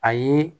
A ye